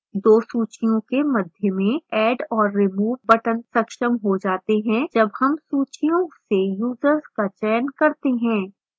2 सूचियों के मध्य में add और remove buttons सक्षम हो जाते हैं जब हम सूचियों से यूजर्स का चयन करते हैं